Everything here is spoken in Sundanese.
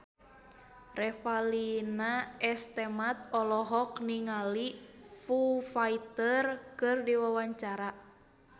Revalina S. Temat olohok ningali Foo Fighter keur diwawancara